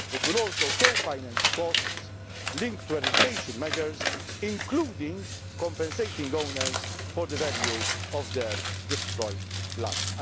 programmes. It will also co finance costs linked to eradication measures, including through compensating owners for the value of their destroyed